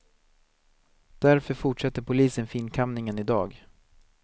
Därför fortsätter polisen finkamningen i dag.